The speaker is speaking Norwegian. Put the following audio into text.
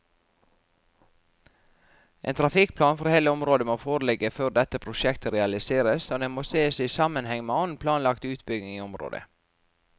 En trafikkplan for hele området må foreligge før dette prosjektet realiseres, og det må sees i sammenheng med annen planlagt utbygging i området.